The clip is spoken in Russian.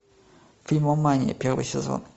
фильмомания первый сезон